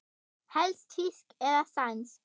Helst þýsk eða sænsk.